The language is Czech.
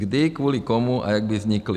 Kdy, kvůli komu a jak by vznikly.